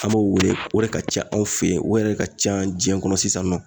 An m'o wele o de ka ca anw fe yen o yɛrɛ de ka ca jinɛ kɔnɔ sisan nɔ